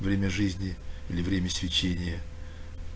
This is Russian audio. время жизни или время свечения